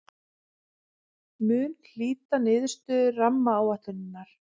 Mun hlýta niðurstöðu rammaáætlunar